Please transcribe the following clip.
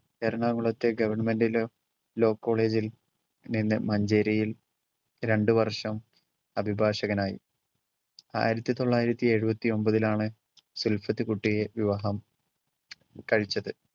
എറണാകുളത്തെ government la~ law college ൽ നിന്ന് മഞ്ചേരിയിൽ രണ്ടു വർഷം അഭിഭാഷകനായി. ആയിരത്തി തൊള്ളായിരത്തി ഏഴുവത്തി ഒമ്പതിലാണ് സുൽഫിത് കുട്ടിയെ വിവാഹം കഴിച്ചത്.